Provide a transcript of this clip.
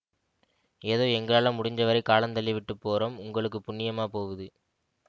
ஏதோ எங்களால முடிஞ்சவரை காலந்தள்ளிவிட்டுப் போறோம் உங்களுக்கு புண்ணியமாப் போவுது